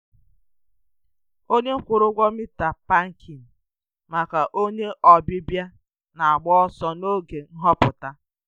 Onye kwụrụ ụgwọ mita pakịn maka onye ọbịbịa na-agba ọsọ n’oge nhọpụta.